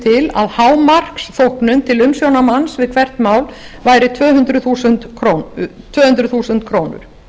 til að hámarksþóknun til umsjónarmanns fyrir hvert mál væri tvö hundruð þúsund krónur